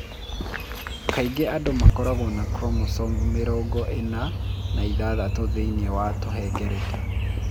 Kaingĩ andũ makoragwo na chromosomes mĩrongo ĩna na ithathatũ thĩinĩ wa kahengereta.